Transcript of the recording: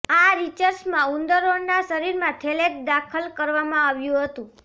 આ રિસર્ચમાં ઉંદરોનાં શરીરમાં થેલેટ દાખલ કરવામાં આવ્યું હતું